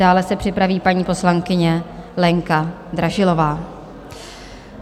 Dále se připraví paní poslankyně Lenka Dražilová.